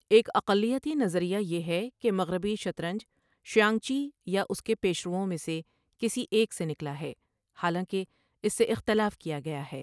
ایک اقلیتی نظریہ یہ ہے کہ مغربی شطرنج شیانگچی یا اس کے پیشروؤں میں سے کسی ایک سے نکلا ہے، حالانکہ اس سے اختلاف کیا گیا ہے۔